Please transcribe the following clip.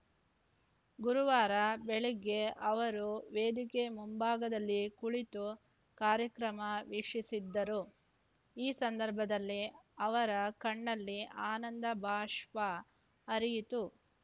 ಗುರುವಾರ ಬೆಳಗ್ಗೆ ಅವರು ವೇದಿಕೆ ಮುಂಭಾಗದಲ್ಲಿ ಕುಳಿತು ಕಾರ್ಯಕ್ರಮ ವೀಕ್ಷಿಸಿದ್ದರು ಈ ಸಂದರ್ಭದಲ್ಲಿ ಅವರ ಕಣ್ಣಲ್ಲಿ ಆನಂದಬಾಷ್ಪ ಹರಿಯಿತು